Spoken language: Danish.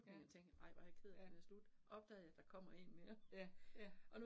Ja. Ja. Ja ja